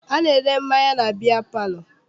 A na-ere mmanya na biya palọ.